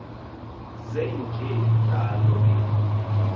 zenje njalo ke